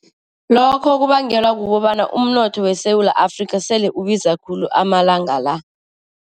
Lokho kubangelwa kukobana umnotho weSewula Afrika sele ubiza khulu amalanga la.